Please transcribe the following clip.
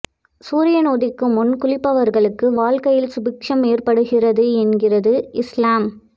சூரியன் உதிக்கும் முன் குளிப்பவர்களுக்கு வாழ்க்கையில் சுபிட்சம் ஏற்படுகிறது என்கிறது இஸ்லாம்